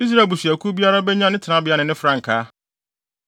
Israel abusuakuw biara benya ne tenabea ne ne frankaa.